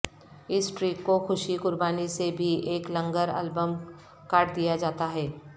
اس track کو خوشی قربانی سے بھی ایک لنگر البم کاٹ دیا جاتا ہے